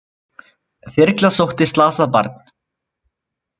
Þyrla sótti slasað barn